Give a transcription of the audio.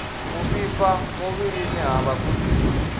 u vhifha muvhilini ha vhagudiswa